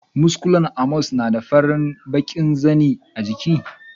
Muskulen Amos na da fari da bakin zanin jiki.